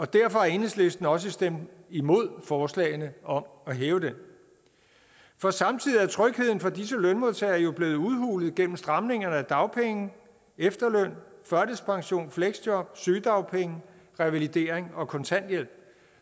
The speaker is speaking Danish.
derfor har enhedslisten også stemt imod forslagene om at hæve den for samtidig er trygheden for disse lønmodtagere jo blevet udhulet gennem stramninger af dagpenge efterløn førtidspension fleksjob sygedagpenge revalidering og kontanthjælp